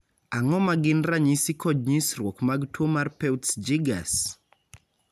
Ang'o ma gin ranyisi kod nyisruok mag tuo mar Peutz Jeghers?